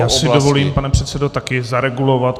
Já si dovolím, pane předsedo, taky zaregulovat.